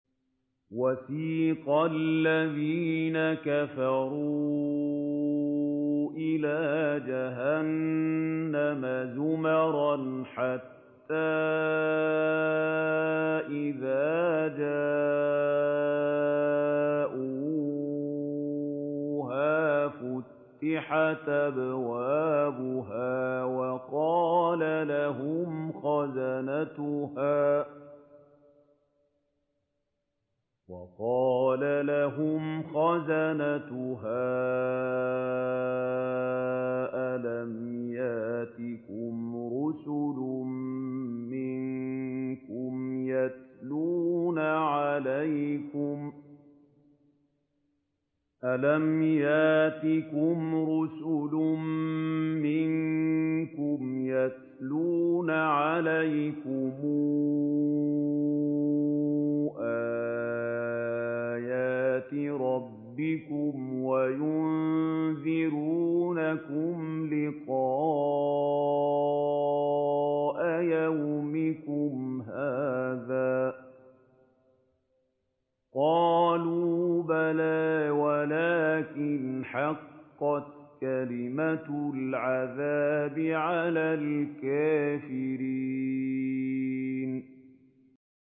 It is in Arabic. وَسِيقَ الَّذِينَ كَفَرُوا إِلَىٰ جَهَنَّمَ زُمَرًا ۖ حَتَّىٰ إِذَا جَاءُوهَا فُتِحَتْ أَبْوَابُهَا وَقَالَ لَهُمْ خَزَنَتُهَا أَلَمْ يَأْتِكُمْ رُسُلٌ مِّنكُمْ يَتْلُونَ عَلَيْكُمْ آيَاتِ رَبِّكُمْ وَيُنذِرُونَكُمْ لِقَاءَ يَوْمِكُمْ هَٰذَا ۚ قَالُوا بَلَىٰ وَلَٰكِنْ حَقَّتْ كَلِمَةُ الْعَذَابِ عَلَى الْكَافِرِينَ